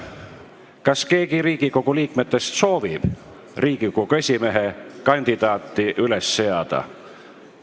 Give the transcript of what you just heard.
Kas keegi Riigikogu liikmetest soovib Riigikogu esimehe kandidaati üles seada?